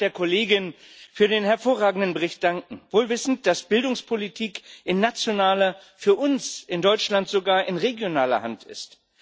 Ich darf der Kollegin für den hervorragenden Bericht danken wohl wissend, dass Bildungspolitik in nationaler, für uns in Deutschland sogar in regionaler Hand ist.